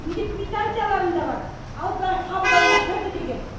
үйде квитанцияларым да бар алдына қабылдауына кірді деген